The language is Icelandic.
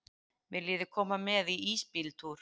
Viljiði koma með í ísbíltúr?